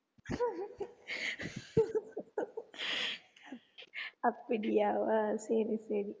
அப்படியா சரி சரி